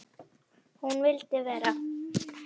Hún vildi vera.